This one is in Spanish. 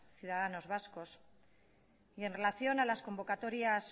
ciudadanos vascos y en relación a las convocatorias